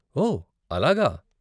ఓ, అలాగా.